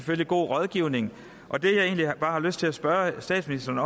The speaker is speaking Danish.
med god rådgivning og det jeg egentlig bare har lyst til at spørge statsministeren